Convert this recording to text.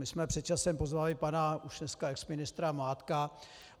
My jsme před časem pozvali pana už dneska exministra Mládka.